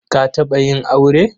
Ka taɓa yin aure?